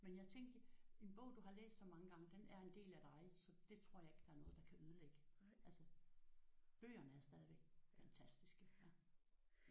Men jeg tænkte en bog du har læst så mange gange den er en del af dig så det tror jeg ikke der er noget der kan ødelægge. Altså bøgerne er stadigvæk fantastiske